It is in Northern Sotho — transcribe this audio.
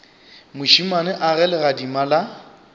mošemane a ge legadima la